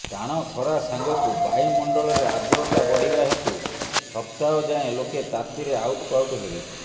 ଟାଣ ଖରା ସାଙ୍ଗକୁ ବାୟୁମଣ୍ଡଳରେ ଆଦ୍ରତା ବଢ଼ିବା ହେତୁ ସପ୍ତାହ ଯାଏ ଲୋକେ ତାତିରେ ଆଉଟୁପାଉଟୁ ହେବେ